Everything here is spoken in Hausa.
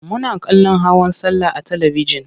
Muna kallon hawan sallah a talibijin.